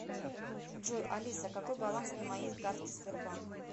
джой алиса какой баланс на моей карте сбербанк